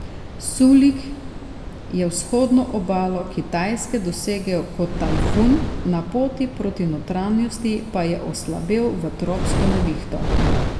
Sulik je vzhodno obalo Kitajske dosegel kot tajfun, na poti proti notranjosti pa je oslabel v tropsko nevihto.